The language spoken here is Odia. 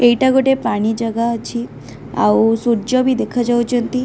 ଏଇଟା ଗୋଟେ ପାଣି ଜାଗା ଅଛି ଆଉ ସୂର୍ଯ୍ୟ ବି ଦେଖାଯାଉଚନ୍ତି।